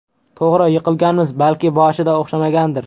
To‘g‘ri, yiqilganmiz, balki boshida o‘xshamagandir.